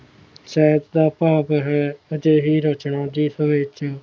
ਸੈਫ ਦਾ ਭਾਗ ਹੈ ਅਜਿਹੀ ਰਚਨਾ ਜਿਸ ਵਿਚ ਹੀ